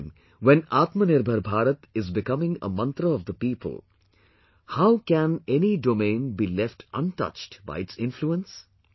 At a time when Atmanirbhar Bharat is becoming a mantra of the people, how can any domain be left untouched by its influence